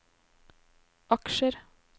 aksjer